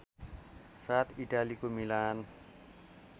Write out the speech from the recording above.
साथ इटालीको मीलान